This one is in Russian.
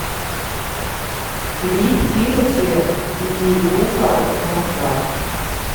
клип тимати и гуфа москва